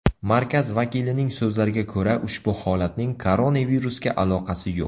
Markaz vakilining so‘zlariga ko‘ra, ushbu holatning koronavirusga aloqasi yo‘q.